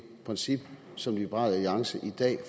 princip som liberal alliance i dag